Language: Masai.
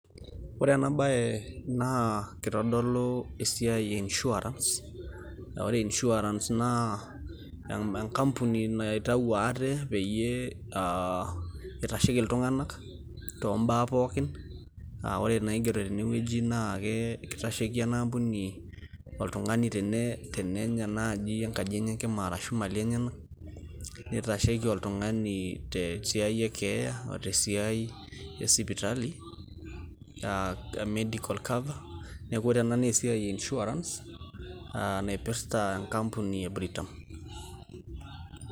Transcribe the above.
ore ena bae naa kitodolu esiai e insurance aa ore insurance naa enkampuni naitau ate pee eitasheki iltung'anak too baa pookin. ore inaigero tene wueji naa keitasheiki ena ampuni oltungani tenenya naji enkaji enye enkima, arashu imali enyenak neitasheiki te siai e keeya, oe te siai e sipitali aa medical cover. neeku ore ena naa esiai e insurance naipita enkampuni e britam.